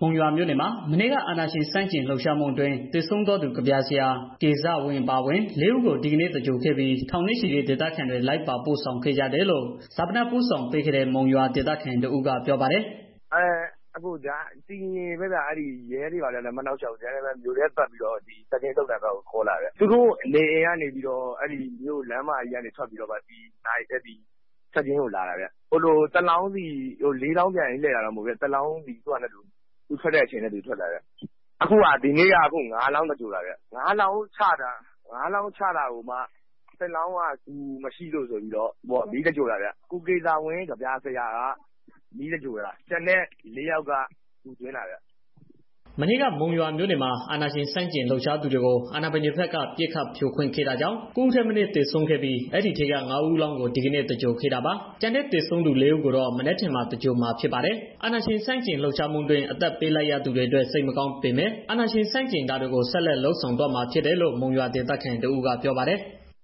မုံရွာမြို့နယ်မှာ မနေ့က အာဏာရှင်ဆန့်ကျင်လှုပ်ရှားမှုအတွင်း သေဆုံးသွားသူ ကဗျာဆရာ ကေဇဝင်း အပါအဝင် လေးဦး ကို ဒီနေ့သဂြိ ၤုလ်ခဲ့ပြီး ထောင်နဲ့ ချီတဲ့ ဒေသခံတွေ လိုက်ပါပို့ ဆောင်ခဲ့ကြတယ်လို့ ဈာပနပို့ဆောင်ပေးခဲ့တဲ့ မုံရွာဒေသခံ တစ်ဦးက ပြောပါတယ်။ “တည်တည်ငြိမ်ငြိမ်ပါပဲဗျာ။ ရဲတွေ ဘာတွေလည်း မနှောင့်ယှက်ဘူး။ ဒီလိုပဲ မြို့ထဲပတ်ပြီး တော့ စကျင်း သုဿန်ဘက်ကို ခေါ်လာတာ။ သူတို့နေအိမ်တွေကနေ လမ်းမကြီးကနေ ထွက်ပြီးတော့ စကျင်းသုဿန်ဘက်ကို လာတာဗျာ။ လေးလောင်းပြိုင် ယူလာတာတော့ မဟုတ်ဘူး။ တစ် လောင်းစီ သူထွက်တဲ့ အချိန်နဲ့ သူထွက်တာဗျ။ အခုက ဒီနေ့က ငါးလောင်း သင်္ဂြုလ်တာဗျာ။ ငါးလောင်း ချတာမှာ... တစ်လောင်းက ဂူ မရှိလို့ မီးသဂြိ ၤုလ်လိုက်တယ်။ ကိုကေဇဝင်း ကဗျာ ဆရာကို မီးသဂြိၤုလ်တာဗျ။ ကျန်တဲ့ လေးလောင်းကတော့ ဂူသွင်း လိုက်တာဗျာ။” မနေ့က မုံရွာမြို့နယ်မှာ အာဏာရှင် ဆန့်ကျင်လှုပ်ရှားသူတွေကို အာဏာပိုင်းတွေဘက်က ပစ်ခတ်ဖြို ခွင်းခဲ့တာကြောင့် ၉ ဦးထက်မနည်း သေဆုံးခဲ့ပြီး အဲဒီထဲက ငါးဦးအလောင်းကို ဒီကနေ့ သဂြိၤုလ်ခဲ့တာပါ။ ကျန်တဲ့ သေဆုံးသူ လေးဦးကိုတော့ မနက်ဖြန်မှာ သဂြိုၤလ်မှာဖြစ်ပါတယ်။ အာဏာရှင်ဆန့်ကျင်ရေးလှုပ်ရှားမှုအတွင်း အသက်ပေးလိုက်ရသူတွေအတွက် စိတ်မကောင်းပေမဲ့ အာဏာရှင် ဆန့်ကျင်တာတွေကို ဆက်လက်လုပ်ဆောင်သွားမှာ ဖြစ်တယ်လို့ မုံရွာဒေသခံ တစ်ဦးက ပြောပါတယ်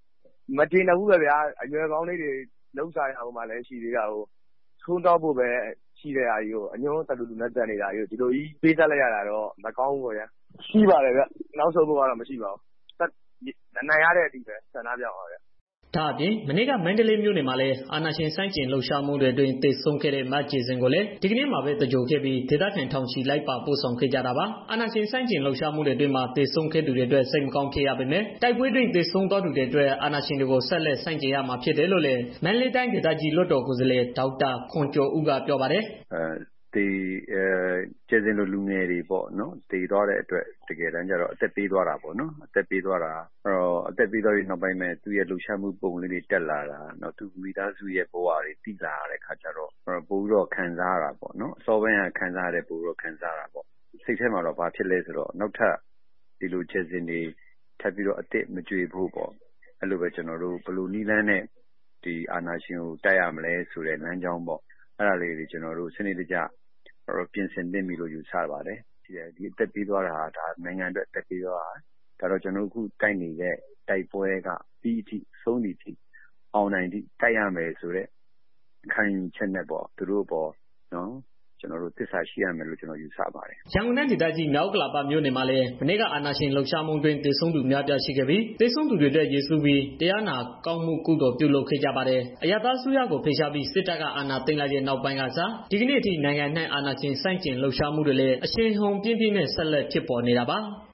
။ “မကျေနပ်ဘူးပေါ့ဗျာ။ အရွယ်ကောင်းလေးတွေ... ထွန်းတောက်ဖို့ပဲ ရှိတဲ့ဟာကြီးကို အညွန့် တလူလူနဲ့ တက်နေတာကြီးကိုး။ ဒီလိုကြီး ပေးဆပ်လိုက်ရတာကတော့ မကောင်းပါဘူးပေါ့ဗျာ။ နောက်ဆုတ်ဖို့ကတော့ မရှိပါဘူး။ အနိုင်ရတဲ့ အထိ ဆန္ဒပြမှာပဲ။” ဒါအပြင့် မနေ့က မန္တလေးမြို့နယ်မှာလည်း အာဏာရှင်ဆန့်ကျင်လှုပ်ရှားမှုအတွင်း သေ ဆုံးခဲ့တဲ့ မကြယ်စင်ကိုလည်း ဒီကနေ့မှာပဲ သဂြိုၤလ်ခဲ့ပြီး ဒေသခံ ထောင်ချီ လိုက်ပါပို့ဆောင်ခဲ့ကြတာပါ။ အာဏာရှင်ဆန့်ကျင်လှုပ်ရှားမှုတွေအတွင်းမှာ သေဆုံးသွားသူတွေအတွက် စိတ်မကောင်းဖြစ်ရပေမဲ့ တိုက်ပွဲအတွင်း သေဆုံးသွားသူတွေအတွက် အာဏာရှင်တွေကို ဆက်လက်ဆန့်ကျင်ရမှာဖြစ်တယ်လို့လည်း မန္တလေးတိုင်းဒေသကြီး လွှတ်တော်ကိုယ်စားလှယ် ဒေါက်တာခွန်ကျော်ဦးက ပြောပါတယ်။ “ကြယ်စင်လို လူငယ်တွေ သေသွားတဲ့အတွက် တကယ်တော့ အသက်ပေးသွားတာပေါ့ နော်။ အသက်ပေးသွားတဲ့ နောက်ပိုင်းမှာပဲ သူ့ရဲ့ လှုပ်ရှားမှု ပုံလေးတွေ တက်လာတာ၊ နောက်သူ့မိသားစုရဲ့ ဘဝတွေကို သိလာရတဲ့ အခါကျတော့ ပိုပြီးတော့ ခံစားရတာပေါ့နော်။ အစောပိုင်းက ခံစားရတာထက် ပိုပြီးတော့ ခံစားရတာပေါ့။ အဲဒီလို နောက်ထက် ကြယ်စင်တွေ မကြွေဖို့ ဘယ်လို နည်းလမ်းနဲ့ ဒီအာဏာရှင်ကို တိုက်ရမလဲ ဆိုတဲ့ လမ်းကြောင်းပေါ့... အဲဒါကို ကျနော်တို့ စနစ်တကျ ပြင်ဆင်သင့်ပြီလို့ ယူဆပါတယ်။ ဒီအသက်ပေးသွားတာဟာ နိုင်ငံအတွက် ပေးသွားတာ။ ဆိုတော့ ကျနော်တို့ အခုတိုက်နေတဲ့ တိုက်ပွဲက ပြီးတဲ့အထိ၊ ဆုံးသည်အထိ၊ အောင်နိုင်တဲ့အထိ တိုက်ရမယ်ဆိုတဲ့ ခံယူချက်နဲ့ပေါ့ သူတို့အပေါ် သစ္စာရှိရမယ်လို့ ကျနော်ယူဆပါတယ်။” ရန်ကုန်တိုင်းဒေသကြီး မြောက်ဥက္ကလာမြို့နယ်မှာလည်း မနေ့က အာဏာရှင် လှုပ်ရှားမှူ အတွင်း သေဆုံးသူ အများအပြားရှိခဲ့ပြီး သေဆုံးသူတွေအတွက် ရည်စူးပြီး တရားနာကောင်း မှုကုသိုလ် ပြုလုပ်ခဲ့ကြပါတယ်။ အရပ်သားအစိုးရကို ဖယ်ရှားပြီး စစ်တပ်က အာဏာသိမ်း လိုက်တဲ့ နောက်ပိုင်းကစ ဒီကနေ့အထိ နိုင်ငံအနှံ့ အာဏာရှင်ဆန့်ကျင်လှုပ်ရှားမှုတွေလည်း အရှိန်အဟုန်ပြင်းပြင်းနဲ့ ဆက်လက် ဖြစ်ပေါ်နေတာပါ။